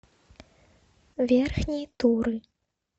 верхней туры